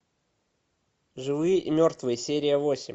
живые и мертвые серия восемь